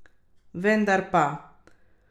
Vendar pa!